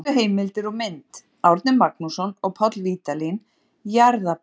Helstu heimildir og mynd: Árni Magnússon og Páll Vídalín, Jarðabók.